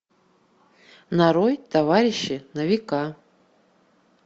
нарой товарищи на века